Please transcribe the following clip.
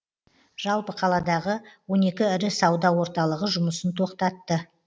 жалпы қаладағы он екі ірі сауда орталығы жұмысын тоқтатты